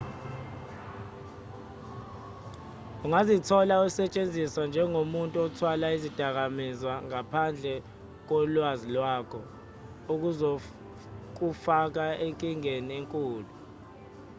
ungazithola usetshenziswa njengomuntu othwala izidakamizwa ngaphandle kolwazi lwakho okuzokufaka enkingeni enkulu